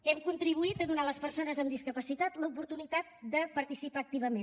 hem contribuït a donar a les persones amb discapacitat l’oportunitat de participar activament